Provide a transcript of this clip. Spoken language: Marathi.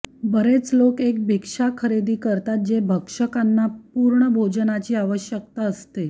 बरेच लोक एक भिक्षा खरेदी करतात जे भक्षकांना पूर्ण भोजनाची आवश्यकता असते